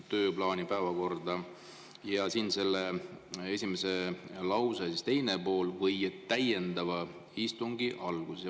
Sellesama esimese lause teine pool on: " või täiendava istungi alguses.